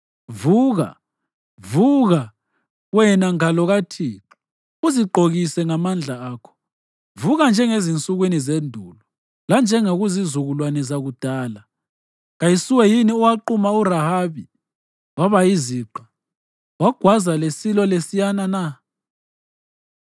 Vuka, vuka, wena ngalo kaThixo; uzigqokise ngamandla akho! Vuka njengasezinsukwini zendulo, lanjengakuzizukulwane zakudala. Kayisuwe yini owaquma uRahabi waba yiziqa, wagwaza lesilo lesiyana na?